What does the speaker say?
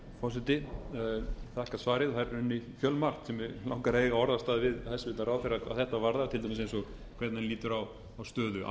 við hæstvirtan ráðherra hvað þetta varðar til dæmis eins og hvernig hann lítur á stöðu